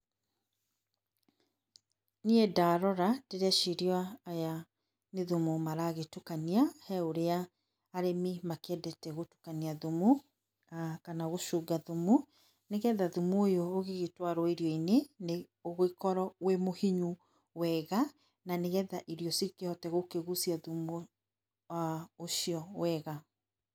Niĩ ndarora ndĩreciria aya nĩ thumu maragĩtukania he ũria arĩmi makĩendete gũtukania thumu kana gũcunga thumu nĩgetha thumu ũyũ ũgĩgĩtwarwo irio-inĩ nĩ ũgĩkorwo wĩ mũhinyu wega na nĩgetha irio cikĩhote gũkĩgucia thumu ũcio wega.